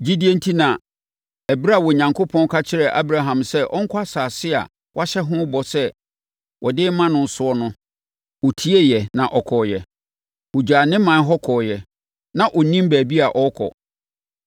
Gyidie enti na ɛberɛ a Onyankopɔn ka kyerɛɛ Abraham sɛ ɔnkɔ asase a wahyɛ ho bɔ sɛ ɔde bɛma no so no, ɔtieeɛ na ɔkɔeɛ. Ɔgyaa ne ɔman hɔ kɔeɛ a na ɔnnim baabi a ɔrekɔ.